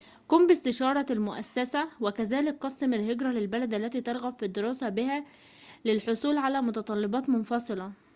قم باستشارة المؤسسة وكذلك قسم الهجرة للبلد التي ترغب في الدراسة بها للحصول على متطلبات مفصلة